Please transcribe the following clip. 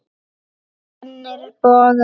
Spennir bogann.